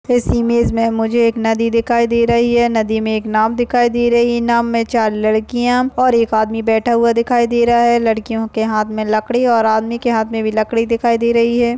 इस इमेज मे मुझे एक नदी दिखाई दे रही है नदी मे एक नावँ दिखाई दे रही है नावँ मे चार लड़कीया और एक आदमी बैठा हुआ दिखाई दे रहा हैं। लड़कीयों के हाथ मे लकड़ी और आदमी के हाथ मे भी लकड़ी दिखाई दे रही हैं।